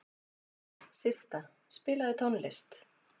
Systa, spilaðu tónlist.